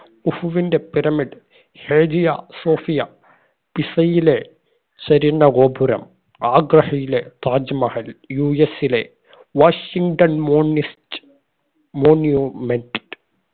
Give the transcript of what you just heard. കുഫുവിന്റെ pyramid Hagia Sophia പിസയിലെ ചരിഞ്ഞ ഗോപുരം ആഗ്രഹിയിലെ താജ്മഹൽ യു എസിലെ വാഷിംഗ്‌ടൺ monist monument